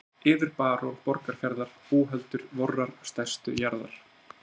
Heill yður barón Borgarfjarðar búhöldur vorrar stærstu jarðar.